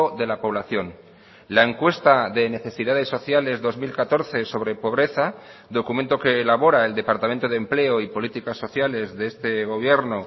de la población la encuesta de necesidades sociales dos mil catorce sobre pobreza documento que elabora el departamento de empleo y políticas sociales de este gobierno